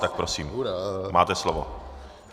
Tak prosím, máte slovo.